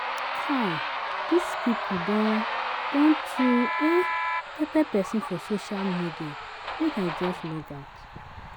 Kai dis pipu don don too um pepper pesin for social media make I just logout.